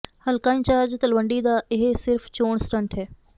ਹਲਕਾ ਇੰਚਾਰਜ ਤਲਵੰਡੀ ਦਾ ਇਹ ਸਿਰਫ਼ ਚੋਣ ਸਟੰਟ ਹੈ